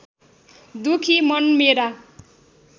दुखी मन मेरा